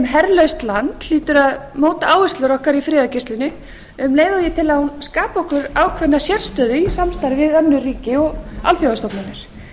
herlaust land hlýtur að móta áherslur okkar í friðargæslunni um leið og ég tel að hún skapi okkur ákveðna sérstöðu í samstarfi við önnur ríki og alþjóðastofnanir